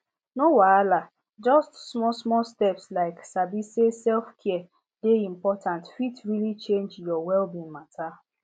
no wahala just smallsmall steps like sabi say selfcare dey important fit really change your wellbeing matter